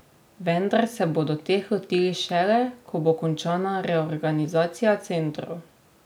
Vendar se bodo teh lotili šele, ko bo končana reorganizacija centrov.